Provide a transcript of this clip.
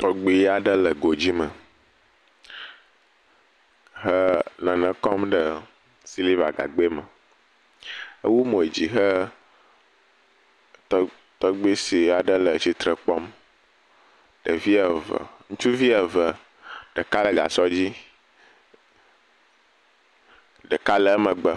Tɔgbui aɖe le godzi me he nane kɔm ɖe siliva gagbɛ me. Ewu mo dzi hee, tɔ tɔgbui si aɖe le tsitre kpɔm. Ɖevi eve, ŋutsuvi eve, ɖeka le gasɔ dzi. Ɖeka le emegbe